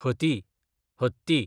हती, हत्ती